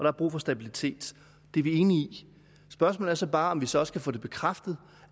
er brug for stabilitet det er vi enige i spørgsmålet er så bare om vi så også kan få bekræftet